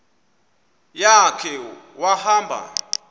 ya khe wahamba